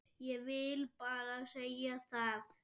Ég vil bara segja það.